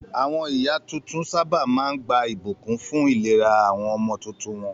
Àwọn ìyá tuntun sábà máa ń gba ìbùkún fún ìlera àwọn ọmọ tuntun wọn.